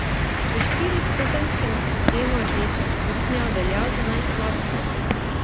V štiristopenjskem sistemu rdeča stopnja velja za najslabšo.